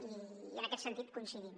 i en aquest sentit hi coincidim